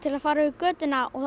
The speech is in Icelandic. að fara yfir götuna og